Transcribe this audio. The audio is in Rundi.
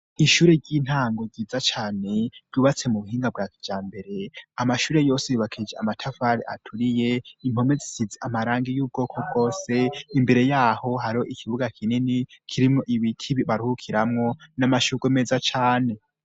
Ishure ry'intango ryiza cane ryubatse mu buhinga kijambere; amashure yose yubakishije amatafari aturiye, impome zisize amarangi y'ubwoko bwose . Imbere yaho hari ikibuga kinini kirimwo ibiti baruhukiramwo n'amashurwe meza cane.